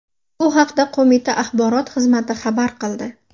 Bu haqda qo‘mita axborot xizmati xabar qildi .